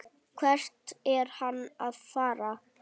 Hvert er hann að fara?